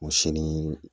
O si ni